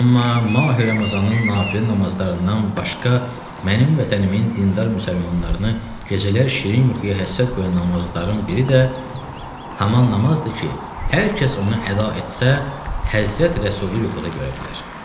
Amma Mahi Ramazanının nafilə namazlarından başqa mənim vətənimin dindar müsəlmanlarını gecələr şirin yuxuya həsrət qoyan namazların biri də həmin namazdır ki, hər kəs onu əda etsə, Həzrəti Rəsulu yuxuda görə bilər.